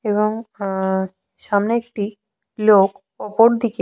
এবং উঃ সামনে একটি লোক ওপর দিকে--